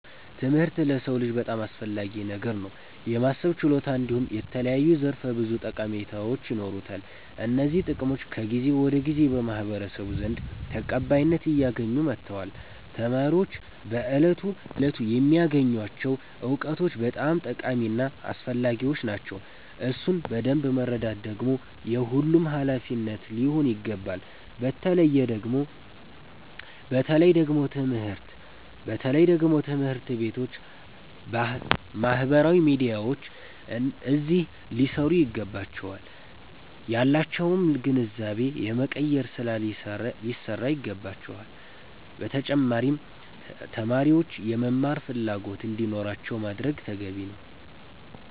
ትምህርት ለሰዉ ልጅ በጣም አስፈላጊ ነገር ነዉ። የማሰብ ችሎታ እንዲሁም የተለያዩ ዘርፈ ብዙ ጠቀሜታዎች ይኖሩታል። እነዚህ ጥቅሞች ከጊዜ ወደ ጊዜ በማህበረሰቡ ዘንድ ተቀባይነት አያገኙ መተዋል። ተማሪዎች በየእለቱ የሚያገኙቸዉ እዉቀቶች በጣም ጠቃሚ እና አስፈላጊዎች ናቸዉ። እሱን በደምብ መረዳት ደግሞ የሁሉም ሃላፊነት ሊሆን ይገባል። በተለየ ደግሞ ትምህርት ቤቶች ባህበራዊ ሚዲያዎች አዚህ ሊሰሩ ይገባቸዋል። ያላቸዉንም ግንዛቤ የመቀየር ስራ ሊሰራ ይገባዋል። በተጫማሪም ተማሪዎች የመማር ፈላጎት እንዲኖራቸዉ ማድረግ ተገቢ ነዉ።